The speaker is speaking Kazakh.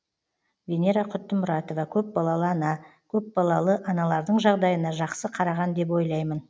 венера құттымұратова көпбалалы ана көпбалалы аналардың жағдайына жақсы қараған деп ойлаймын